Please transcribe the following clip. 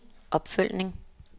opfølgning